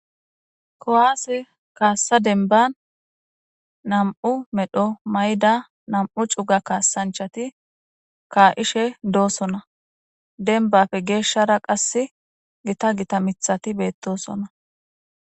Kuwase kasa demban na,mu medho mayida na,mu cu,ga kasanchati ka,ishe dosona dembappe geshara qasi gita gita mitati betosona